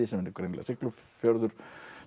sem er greinilega Siglufjörður